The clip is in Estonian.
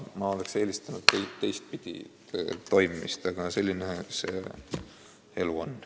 Ma oleks eelistanud teistpidi tegutsemist, aga selline see elu on.